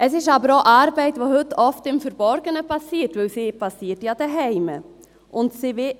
Es ist aber auch Arbeit, die heute oft im Verborgenen geschieht, denn sie geschieht ja zu Hause.